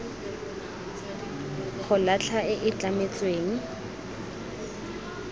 go latlha e e tlametsweng